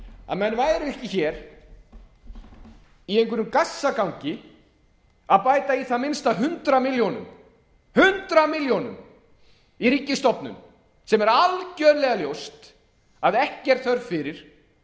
að menn væru ekki í einhverjum gassagangi að bæta í það minnsta hundrað milljónir í ríkisstofnun sem er algerlega ljóst að ekki er þörf fyrir miðað